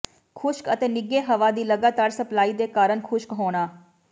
ਖੁਸ਼ਕ ਅਤੇ ਨਿੱਘੇ ਹਵਾ ਦੀ ਲਗਾਤਾਰ ਸਪਲਾਈ ਦੇ ਕਾਰਨ ਖੁਸ਼ਕ ਹੋਣਾ